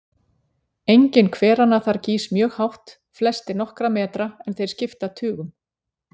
Enginn hveranna þar gýs mjög hátt, flestir nokkra metra, en þeir skipta tugum.